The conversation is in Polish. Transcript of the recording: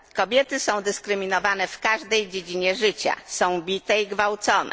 Kobiety są dyskryminowane w każdej dziedzinie życia, są bite i gwałcone.